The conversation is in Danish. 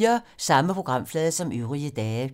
Samme programflade som øvrige dage